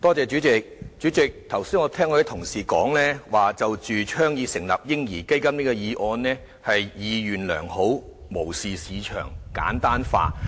主席，剛才聽到有同事說，"倡議成立'嬰兒基金'"這議案是意願良好、無視市場及簡單化。